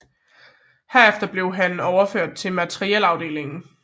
Herefter blev han overført til materiel afdelingen